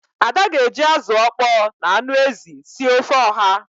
Ada ga-eji azụ ọkpọọ na anụ ezi sie ofe oha.